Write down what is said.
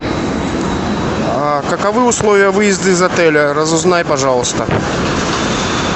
а каковы условия выезда из отеля разузнай пожалуйста